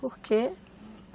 Por quê?